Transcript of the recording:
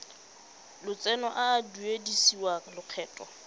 lotseno a a duedisiwang lokgetho